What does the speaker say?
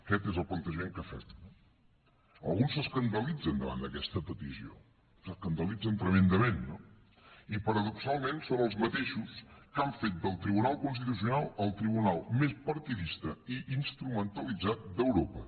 aquest és el plantejament que fem no alguns s’escandalitzen davant d’aquesta petició s’escandalitzen tremendament no i paradoxalment són els mateixos que han fet del tribunal constitucional el tribunal més partidista i instrumentalitzat d’europa